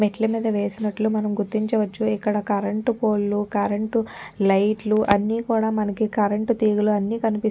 మెట్లమీద వేసినట్లు మనం గుర్తించవచ్చుఇక్కడ కరెంటు పోల్ లు కరెంటు లైట్ లు అన్నీ కూడా మనకి కరెంటు తీగలు అన్ని కనిపిస్ --